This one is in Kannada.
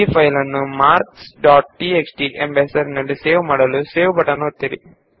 ಫೈಲ್ ನ್ನು ಮಾರ್ಕ್ಸ್ ಡಾಟ್ ಟಿಎಕ್ಸ್ಟಿ ಎಂದು ಹೆಸರಿಸಿ ಮತ್ತು ಸೇವ್ ಒತ್ತಿ